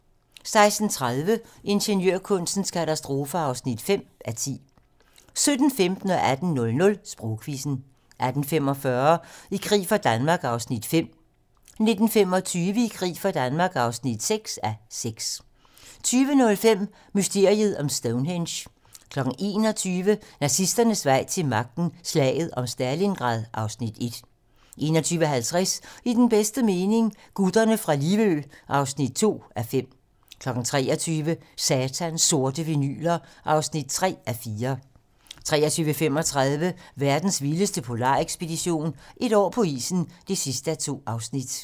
16:30: Ingeniørkunstens katastrofer (5:10) 17:15: Sprogquizzen 18:00: Sprogquizzen 18:45: I krig for Danmark (5:6) 19:25: I krig for Danmark (6:6) 20:05: Mysteriet om Stonehenge 21:00: Nazisternes vej til magten: Slaget om Stalingrad (Afs. 2) 21:50: I den bedste mening - Gutterne fra Livø (2:5) 23:00: Satans sorte vinyler (3:4) 23:35: Verdens vildeste polarekspedition - Et år på isen (2:2)